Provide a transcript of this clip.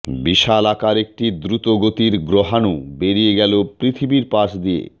বিশালাকার একটি দ্রুতগতির গ্রহাণু বেরিয়ে গেল পৃথিবীরর পাশ দিয়ে